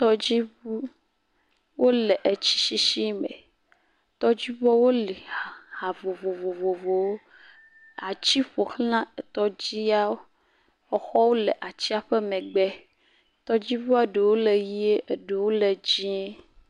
Tɔdziŋu; wole tsi sisi me. Tɔdziŋua woli ha vovovowo. Ati ƒo xlã tɔdziawo, exɔ wo le atia ƒe megbe, tɔdziŋua ɖe wo le ʋie, ɖe wo le dzɛ.